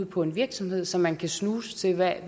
på en virksomhed så man kan snuse til hvad